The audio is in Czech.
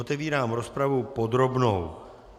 Otevírám rozpravu podrobnou.